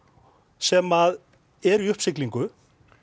sem er í uppsiglingu